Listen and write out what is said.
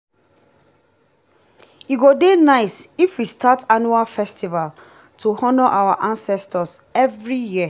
e go dey nice if we start annual festival to honor our ancestors every year.